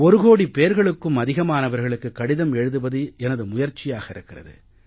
ஒரு கோடி பேர்களுக்கும் அதிகமானவர்களுக்குக் கடிதம் எழுதுவது எனது முயற்சியாக இருக்கிறது